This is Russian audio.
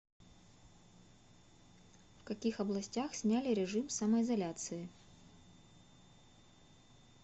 в каких областях сняли режим самоизоляции